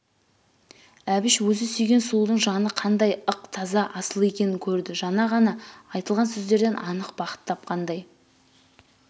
әбіш өзі сүйген сұлудың жаны қандайл ық таза асыл екенін көрді жана ғана айтылған сөздерден анық бақыт тапқандай